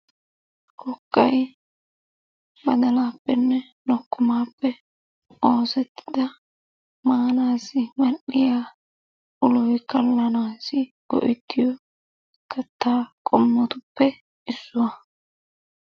Kokkay baddalaappenne lokkommaappe oosetida maanaassi mal'iya uloy kalanaassi go'ettiyo kattaa qommotuppe issuwa.